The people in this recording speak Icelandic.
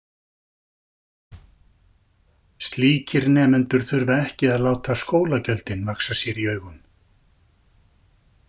Slíkir nemendur þurfa ekki að láta skólagjöldin vaxa sér í augum.